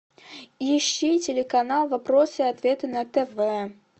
ищи телеканал вопросы и ответы на тв